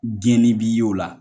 Gɛnni b'i y'o la